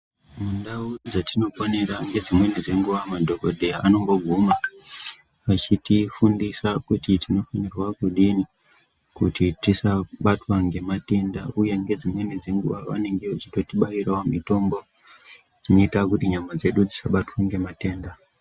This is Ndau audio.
Mundau dzatinoponera ngedzimweni dzenguva madhokodheya anomboguma achitifundisa kuti tinofanirwa kudini kuti tisabatwe ngematenda uye ngedzimweni dzenguva vanenge vechitotibaira mitombo inoita kuti nyama dzedu dzisabatwe ngematenda.